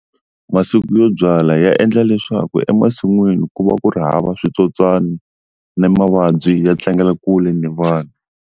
Masiku yo byala ya endla leswaku emasin'wini ku va ku ri hava switsotswani ni mavabyi ya tlangela kule ni vanhu.